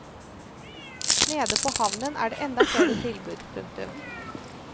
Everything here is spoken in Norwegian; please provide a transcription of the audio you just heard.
Nede på havnen er det enda flere tilbud. punktum